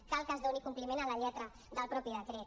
cal que es doni compliment a la lletra del mateix decret